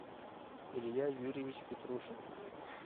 илья юрьевич петрушин